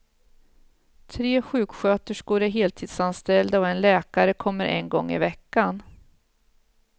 Tre sjuksköterskor är heltidsanställda och en läkare kommer en gång i veckan.